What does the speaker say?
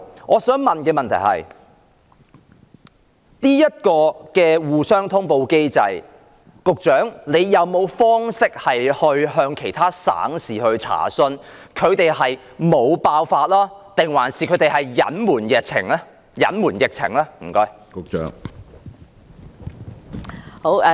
我想問在這個通報機制下，局長有否渠道向其他省市查詢，當地沒有爆發疫情還是隱瞞疫情呢？